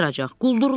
Quldurlar.